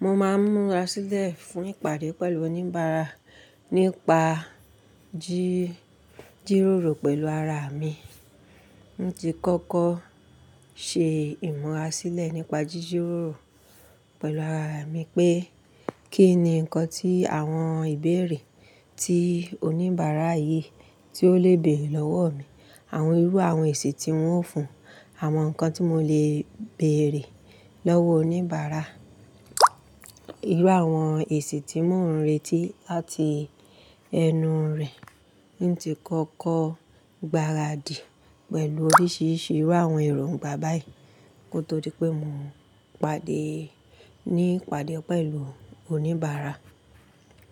Mo máa ń múra sílẹ̀ fún ìpàdé pẹ̀lú oníbàárà nípa ji jírórò pẹ̀lú ara mi. N tí kọ́kọ́ ṣe ìmúra sílẹ̀ nípa jíjirórò pẹ̀lú ara mi pé kí ni nǹkan tí àwọn ìbéèrè tí oníbàárà yìí tí ó lè béèrè lọ́wọ́ mi, àwọn irú àwọn èsì tí wọ́n ń fún, àwọn nǹkan tí mo lè béèrè lọ́wọ́ oníbàárà. Irú àwọn èsì tí mò ń retí láti ẹnu rẹ̀. N tí kọ́kọ́ gbáradì pẹ̀lú oríṣiríṣi irú àwọn ìrògbà báyìí kó tó di pé mò ń pàdé ní ìpàdé pẹ̀lú oníbàárà.